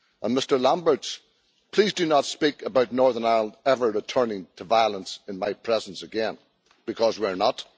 Mr Lamberts, please do not speak about Northern Ireland ever returning to violence in my presence again, because we are not.